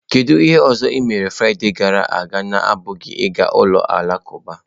Kedu ihe ọzọ ị mere Fraịde gara aga na-abụghị ịga ụlọ alakụba?.